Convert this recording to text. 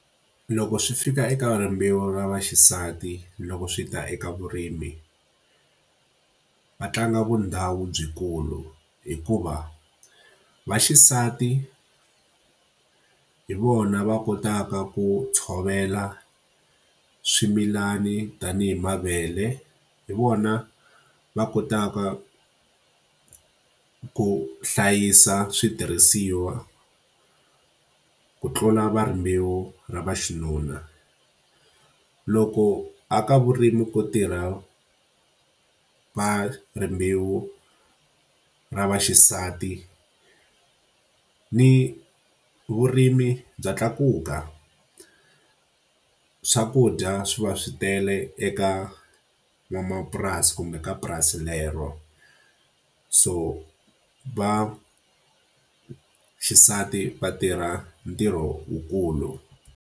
Loko swi fika eka rimbewu ra vaxisati loko swi ta eka vurimi, va tlanga vundhawu lebyikulu. Hikuva vaxisati hi vona va kotaka ku tshovela swimilani tanihi mavele, hi vona va kotaka ku hlayisa switirhisiwa, ku tlula va rimbewu ra va xinuna. Loko a ka vurimi ku tirha va rimbewu ra vaxisati, ni vurimi bya tlakuka, swakudya swi va swi tele eka n'wamapurasi kumbe ka purasi lero. So va xisati va tirha ntirho wu kulu.